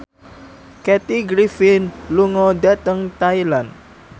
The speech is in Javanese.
Kathy Griffin lunga dhateng Thailand